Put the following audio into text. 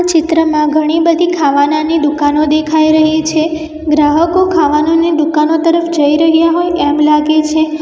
ચિત્રમાં ઘણી બધી ખાવાનાની દુકાનો દેખાઈ રહી છે ગ્રાહકો ખાવાનોને દુકાનો તરફ જઈ રહ્યા હોય એમ લાગે છે.